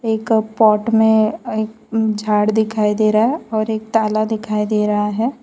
एक पॉट में एक झाड़ दिखाई दे रहा है और एक ताला दिखाई दे रहा हैं।